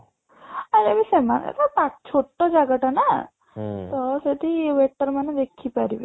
ଆରେ ଏବେ ସେମାନେ ବା ଛୋଟ ଜାଗା ଟା ନା ତ ସେଠି waiter ମାନେ ବିକି ପାରିବେ